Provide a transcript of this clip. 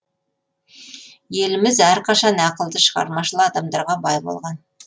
еліміз әрқашан ақылды шығармашыл адамдарға бай болған